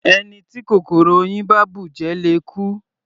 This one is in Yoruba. Ẹni tí kòkòrò oyin bá bùjẹ le kú.